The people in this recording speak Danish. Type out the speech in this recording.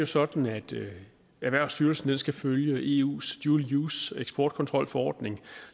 sådan at erhvervsstyrelsen skal følge eus dual use eksportkontrolforordning